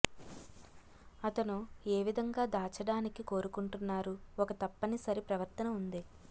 అతను ఏ విధంగా దాచడానికి కోరుకుంటున్నారు ఒక తప్పనిసరి ప్రవర్తన ఉంది